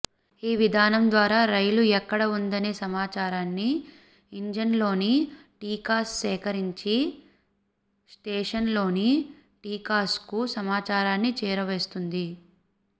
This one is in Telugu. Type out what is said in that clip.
ఈ విధానం ద్వారా రైలు ఎక్కడ ఉందనే సమాచారాన్ని ఇంజిన్లోని టీకాస్ సేకరించి స్టేషన్లోని టీకాస్కు సమాచారాన్ని చేరవేస్తుంది